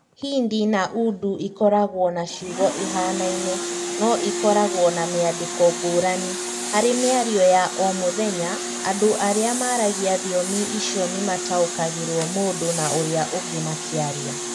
Hindi na Urdu ikoragwo na ciugo ihanaine no ikoragwo na mĩandĩko ngũrani; harĩ mĩario ya o mũthenya andũ arĩa maragia thiomi icio nĩ mataũkagĩrũo mũndũ na ũrĩa ũngĩ makĩaria.